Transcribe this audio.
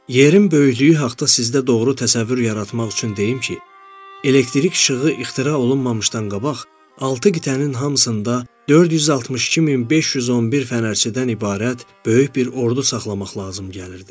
Yerin böyüklüyü haqda sizdə doğru təsəvvür yaratmaq üçün deyim ki, elektrik işığı ixtira olunmamışdan qabaq altı qitənin hamısında 462511 fənərçidən ibarət böyük bir ordu saxlamaq lazım gəlirdi.